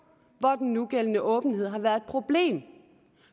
hvor den nugældende åbenhed har været et problem